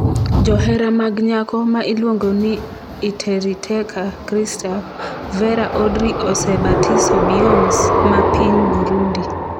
Johera mag nyako ma iluongo ni Iteriteka Christa Verra Audrey osebatiso Beyoncé ma piny Burundi.